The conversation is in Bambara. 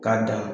K'a dan